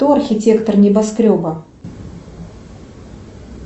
кто архитектор небоскреба